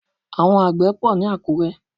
Àwọn àgbè pò ní Àkúré.